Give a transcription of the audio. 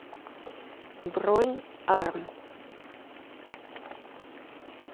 бронь арм